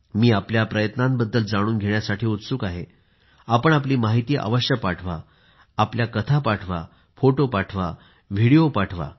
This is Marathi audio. मी आपल्या प्रयत्नांबद्दल जाणून घेण्यास उत्सुक आहे आपण आपली माहिती पाठवा कथा पाठवा फोटो पाठवा व्हिडिओ पाठवा